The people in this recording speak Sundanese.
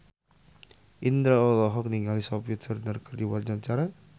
Indro olohok ningali Sophie Turner keur diwawancara